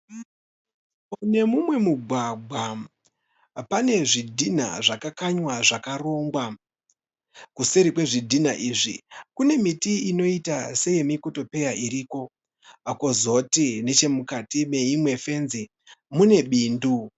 Pane mumwe mugwagwa pane zvidhinha zvakakanywa zvakarongwa. Kuseri kwezvidhinha izvi kune miti inoita seye mikotopeya iriko. Kozoti nechemukati meimwe fenzi mune bindu.